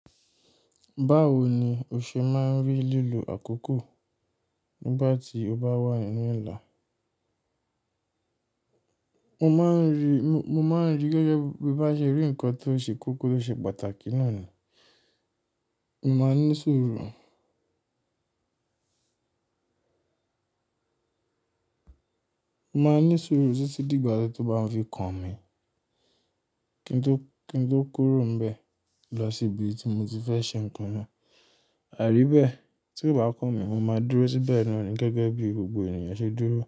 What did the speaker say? Báwo ni o ṣe máa ń rí lílo àkókò nígbà tí o bá wà nínú Ìlà? Mo máa ń rí, mo máa ń rí gẹ́gẹ́ bí bá ṣe rí nǹkan tó ṣe kúkú ló ṣe pàtàkì náà ni. Mo máa ní sùúrù. Mo máa ní sùúrù títí dìgbà tí ó bá fi kàn mi. Kí n tó, kí n tó kúrò níbẹ̀ lọ sí ibi tí mo ti fẹ́ ṣe nǹkan náà. Àrí bẹ́ẹ̀ tí kò bá kàn mi, mo máa dúró síbẹ̀ náà ni gẹ́gẹ́ bí gbogbo ènìyàn ṣe dúró.